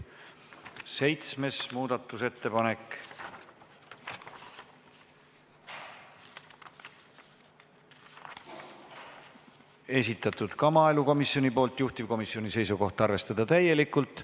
Seitsmes muudatusettepanek, esitanud ka maaelukomisjon, juhtivkomisjoni seisukoht: arvestada täielikult.